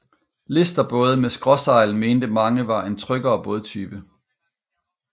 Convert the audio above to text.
Listerbåde med skråsejl mente mange var en tryggere bådetype